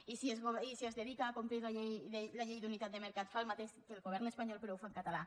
i si es dedica a complir la llei d’unitat de mercat fa el mateix que el govern espanyol però ho fa en català